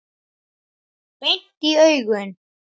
Beint í augun.